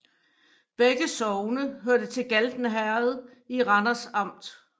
Begge sogne hørte til Galten Herred i Randers Amt